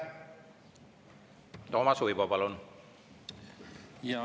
Toomas Uibo, palun!